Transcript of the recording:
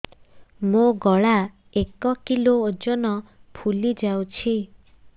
ମୋ ଗଳା ଏକ କିଲୋ ଓଜନ ଫୁଲି ଯାଉଛି